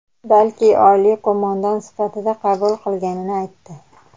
balki oliy qo‘mondon sifatida qabul qilganini aytdi.